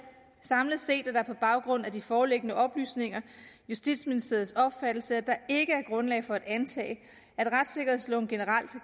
samlet set er det på baggrund af de foreliggende oplysninger justitsministeriets opfattelse at der ikke er grundlag for at antage at retssikkerhedsloven generelt